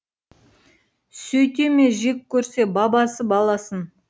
сөйте ме жек көрсе бабасы баласын